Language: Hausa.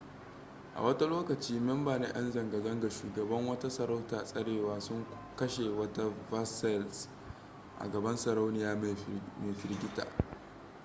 a wata lokaci memba na yan zanga-zanga shugaban wata sarauta tsarewa sun kashe wata versailles a gaban sarauniya mai firgita